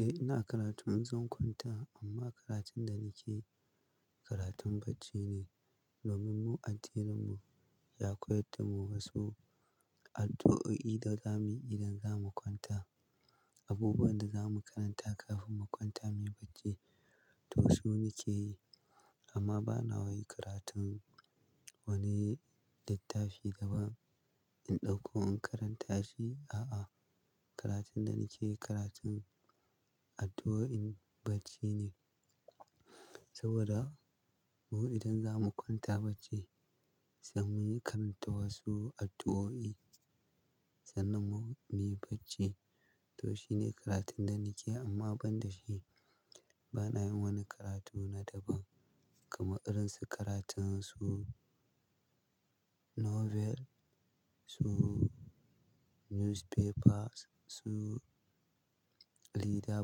Eh, ina karatu. Zan kwanta amma karatun da nake yi karatun bacci ne. Domin mu addininmu ya koyar da mu wasu addu'o'i da za mu yi idan za mu kwanta. Abubuwan da za mu karanta kafin mu kwanta muyi bacci. To, shi nake yi amma bana yi karatun wani littafi daban in ɗauko in karanta shi. A'a, karatun da nake yi karatun addu'oin bacci ne. Saboda mu idan za mu kwanta bacci, sai muyi karanta wasu addu'o'i sannan mu muyi bacci. To, shi ne karatun da nake yi amma ban da shi bana yin wani karatu na daban. Kuma irin su karatun su novel, su newspaper, su lida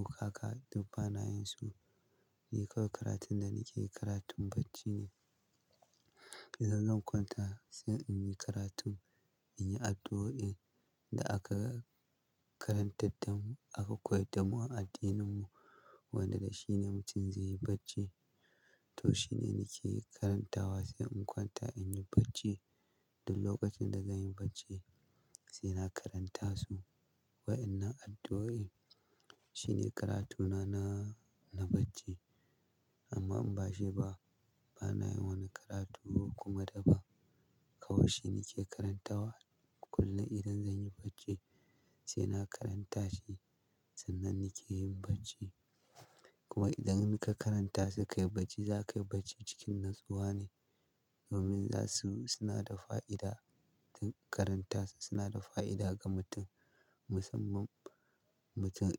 buƙaka, ba na yin su. Nike karatun da nake yi karatun bacci ne. Kisa zan kwanta sai in yi karatun, in yi addu'oin da aka karantar da mu, aka koyar da mu a addininmu wanda shi ne mutum zai yi bacci. To, shi ne nake karantawa sai in kwanta in yi bacci. Da lokacin da zan yi bacci sai na karanta su. Wa'inan addu'o'i shine karatuna na, na bacci amma in bashi ba bana yin wani karatu kuma daban. Kawai shi nake karantawa kullum idan zan yi bacci sai na karanta shi. Sannan nake yin bacci. Kuma idan ka karanta su ka yi bacci, za ka yi bacci cikin natsuwa ne. Domin za su, suna da fa'ida. Karanta su suna da fa'ida ga mutum, musamman mutum.